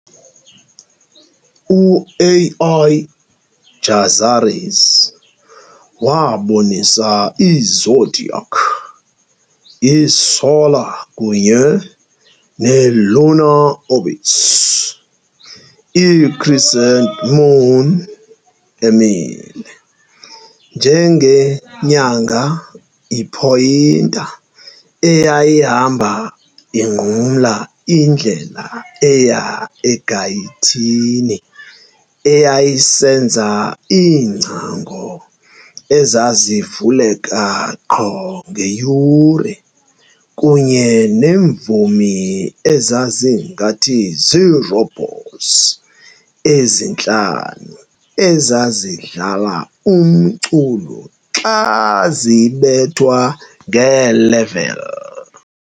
u-Al - Jazari's waabonisa i-zodiac, i-solar kunye ne-lunar orbits, i-crescent moon emile njengenyanga i-pointer eyayihamba inqumla indlela eya egayithini eyayisenza iingcango ezazivuleka qho ngeyure, kunye neemvumi ezazingathi zirobots ezintlanu ezazidlala umculo xa zibethwa ngee-level.